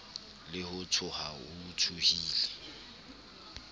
le ho tsoha o tsohile